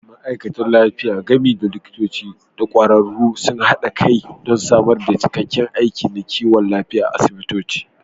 Ma'aikatan lafiya, gami da likitoci da ƙwararru, sun haɗa kai don samar da cikakkiyar aiki na kiwon lafiya a asibitoci.